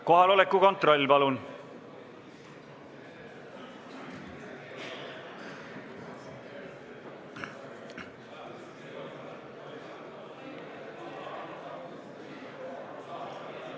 Kohaloleku kontroll, palun!